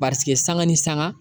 Pasend sanga ni sanga